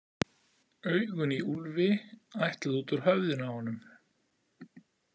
Augun í Úlfi ætluðu út úr höfðinu á honum.